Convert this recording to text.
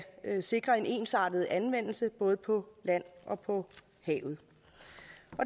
sikre en ensartet anvendelse både på land og på havet